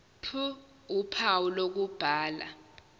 ph uphawu lokubhala